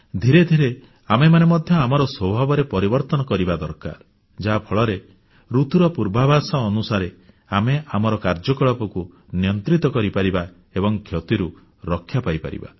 ଧୀରେ ଧୀରେ ଆମେମାନେ ମଧ୍ୟ ଆମର ସ୍ୱଭାବରେ ପରିବର୍ତ୍ତନ କରିବା ଦରକାର ଯାହାଫଳରେ ଋତୁର ପୂର୍ବାଭାଷ ଅନୁସାରେ ଆମେ ଆମର କାର୍ଯ୍ୟକଳାପକୁ ନିୟନ୍ତ୍ରିତ କରିପାରିବା ଏବଂ କ୍ଷତିରୁ ରକ୍ଷା ପାଇପାରିବା